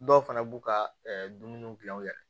Dɔw fana b'u ka dumuniw gilan u yɛrɛ ye